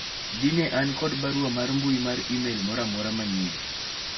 dine an kod barua mar mbui mar email moro amora manyien